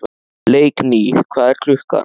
Leikný, hvað er klukkan?